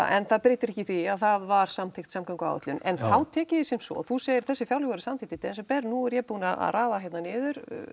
en það breytir ekki því að það var samþykkt samgönguáætlun en þá tek ég því sem svo að þú segir að þessi fjárlög hafi verið samþykkt í desember nú er ég búinn að raða hérna niður